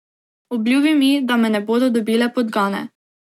Obljubi mi, da me ne bodo dobile podgane.